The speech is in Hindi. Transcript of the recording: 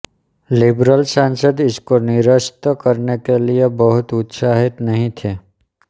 लिबरल सांसद इसको निरस्त कराने के लिए बहुत उत्साहित नहीं थे